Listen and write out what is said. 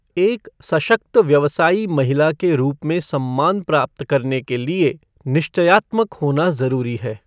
एक सशक्त व्यवसायी महिला के रूप में सम्मान प्राप्त करने के लिए निश्चयात्मक होना ज़रूरी है।